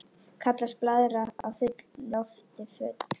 Kallast blaðra af lofti full.